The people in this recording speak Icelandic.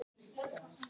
Ef ekki meira.